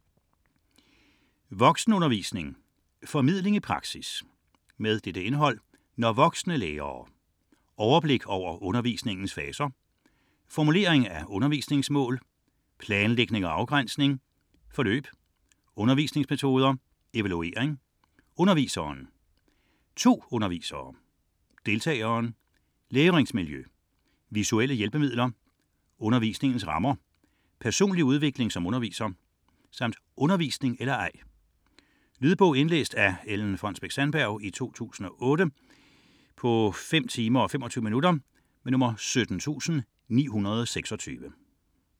37.401 Voksenundervisning: formidling i praksis Indhold: Når voksne lærer; Overblik over undervisningens faser; Formulering af undervisningmål; Planlægning og afgrænsning; Forløb; Undervisningsmetoder; Evaluering; Underviseren; To undervisere; Deltageren; Læringsmiljø; Visuelle hjælpemidler; Undervisningens rammer; Personlig udvikling som underviser; Undervisning eller ej? Lydbog 17926 Indlæst af Ellen Fonnesbech-Sandberg, 2008. Spilletid: 5 timer, 25 minutter.